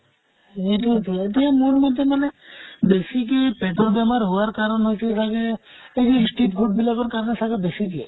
সেইতোয়েটো, এতিয়া মোৰ মতে মানে বেছিকে পেতৰ বেমাৰ হোৱাৰ কাৰণ হৈছে চাগে এই street food বিলাকৰ কাৰণে চাগে বেছিকে